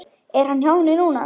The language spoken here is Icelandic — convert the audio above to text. Er hann hjá henni núna?